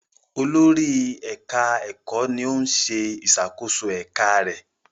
Olórí ẹka ẹkọ ní òún ṣe ìṣàkóso eka rẹ.